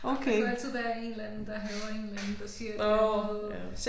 Der kunne altid være en eller anden der hader en eller anden der siger et eller andet